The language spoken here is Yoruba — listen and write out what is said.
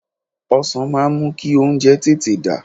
Ọsàn máa ń mú kí oúnjẹ tètè dà